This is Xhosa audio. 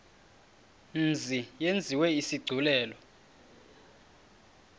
mzi yenziwe isigculelo